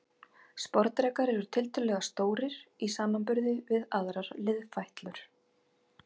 Sporðdrekar eru tiltölulega stórir í samanburði við aðrar liðfætlur.